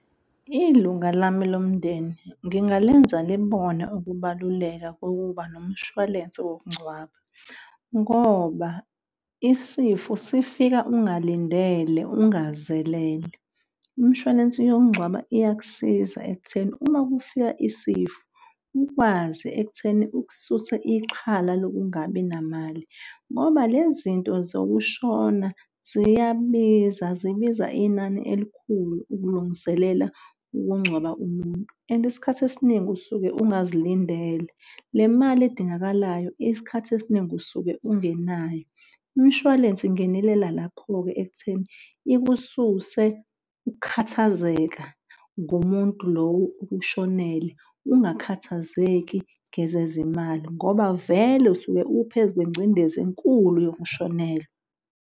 Ilunga lami lomndeni ngingalenza libone ukubaluleka kokuba nomshwalense wokungcwaba ngoba isifo sifika, ungalindele ungazelele. Imshwalensi yokungcwaba iyakusiza ekutheni uma kufika isifo ukwazi ekutheni ukususa ixhala lokungabi namali ngoba lezi nto zokushona ziyabiza zibiza inani elikhulu ukulungiselela ukungcwaba umuntu and isikhathi esiningi usuke ungazilindele. Le mali edingakalayo isikhathi esiningi usuke ungenayo imishwalense ingenelela lapho-ke ekutheni ikususe ukukhathazeka ngumuntu, lowo okushonele ungakhathazeki ngezezimali ngoba vele usuke uphezu kwengcindezi enkulu yokushonelwa.